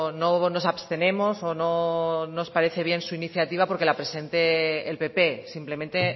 no nos abstenemos o no nos parece bien su iniciativa porque la presente el pp simplemente